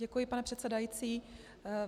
Děkuji, pane předsedající.